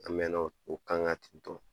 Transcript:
An bɛnna o kan ŋa ten tɔ